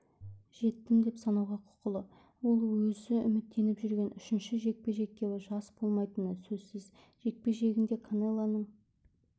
жеттім деп санауға құқылы ол өзі үміттеніп жүрген үшінші жекпе-жекте жас болмайтыны сөзсіз жекпе-жегінде канелоның